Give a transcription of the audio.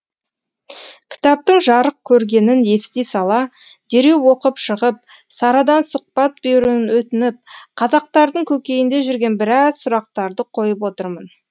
кітаптың жарық көргенін ести сала дереу оқып шығып сарадан сұхбат беруін өтініп қазақтардың көкейінде жүрген біраз сұрақтарды қойып отырмын